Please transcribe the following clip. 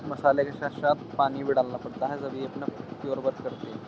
मसाले के साथ-साथ पानी भी डालना पड़ता है जब ये अपना पयोर वर्क करती है।